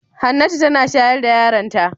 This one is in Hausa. Hannatu tana shayar da yaronta.